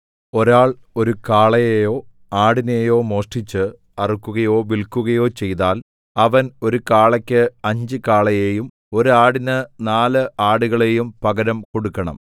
ഒരാൾ ഒരു കാളയെയോ ആടിനെയോ മോഷ്ടിച്ച് അറുക്കുകയോ വില്ക്കുകയോ ചെയ്താൽ അവൻ ഒരു കാളയ്ക്ക് അഞ്ച് കാളകളെയും ഒരു ആടിന് നാല് ആടുകളെയും പകരം കൊടുക്കണം